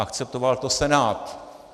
Akceptoval to Senát.